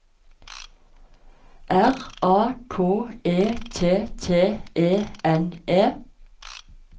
R A K E T T E N E